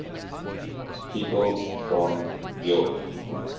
people from york